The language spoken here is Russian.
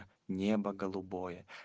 небо голубое